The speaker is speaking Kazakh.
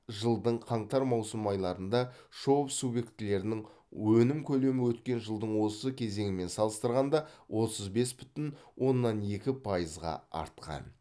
жылдың қаңтар маусым айларында шоб субъектілерінің өнім көлемі өткен жылдың осы кезеңімен салыстырғанда отыз бес бүтін оннан екі пайызға артқан